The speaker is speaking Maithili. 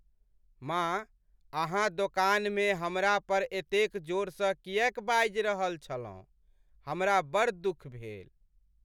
माँ अहाँ दोकानमे हमरा पर एतेक जोरसँ किएक बाजि रहल छलहुँ, हमरा बड़ दुख भेल।